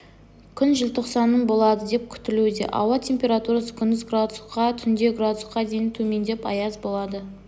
күн желтоқсанның болады деп күтілуде ауа температурасы күндіз градус түнде градусқа дейін төмендеп аяз болады